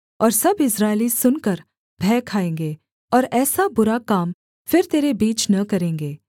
और सब इस्राएली सुनकर भय खाएँगे और ऐसा बुरा काम फिर तेरे बीच न करेंगे